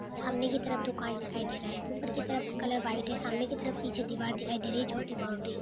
सामने की तरफ दूकान दिखाई दे रहा है। ऊपर की तरफ कलर वाइट है। सामने की तरफ पीछे दिवार दिखाई दे रही है छोटी बाउंड्री